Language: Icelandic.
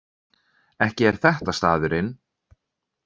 Ekki er þetta staðurinn?